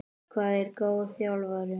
Hvað er góð þjálfun?